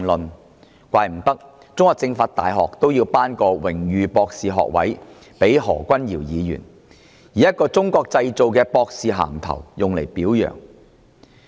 無怪乎中國政法大學要頒發榮譽博士學位予何君堯議員，以一個"中國製造"的博士銜頭加以表揚。